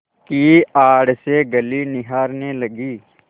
की आड़ से गली निहारने लगी